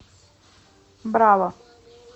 браво